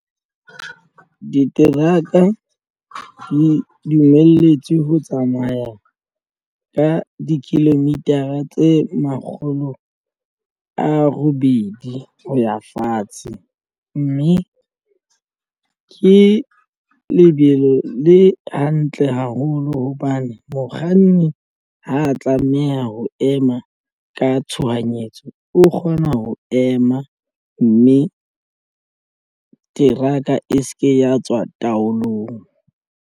Diteraka di dumelletswe ho tsamaya ka di-kilometer a tse makgolo a robedi ho ya fatshe mme ke lebelo le hantle haholo hobane mokganni ha tlameha ho ema ka tshohanyetso o kgona ho ema mme teraka e se ke ya tswa taolong.